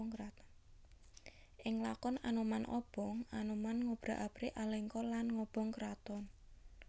Ing lakon Anoman Obong Anoman ngobrak abrik Alengka lan ngobong kraton